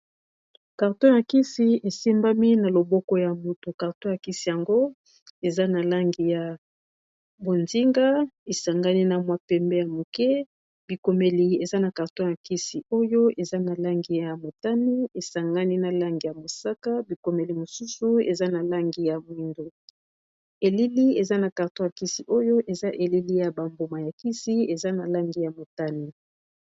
Carton ya kisi e simbami na loboko ya mutu, carton ya kisi yango eza na langi ya bozinga, e sangani na mwa pembe ya muke, Bikomeli eza na carton ya kisi oyo eza na langi ya motane, e sangani na langi ya mosaka , bikomeli mosusu eza na langi ya moyindo. Elili eza na carton ya kisi oyo eza elili ya ba mbuma ya kisi, eza na langi ya motane.